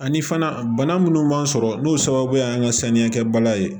Ani fana bana minnu b'an sɔrɔ n'o sababu y'an ka saniya kɛbaliya ye